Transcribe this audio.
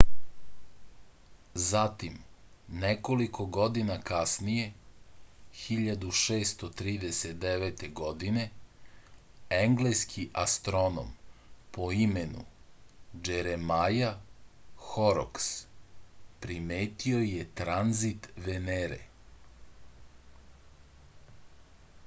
zatim nekoliko godina kasnije 1639. godine engleski astronom po imenu džeremaja horoks primetio je tranzit venere